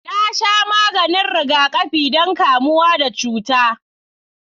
Na sha maganin rigakafi don kamuwa da cuta.